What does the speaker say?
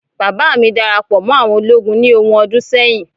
baba mi darapo mo àwọn ologun ni ohun ọdún sẹyìn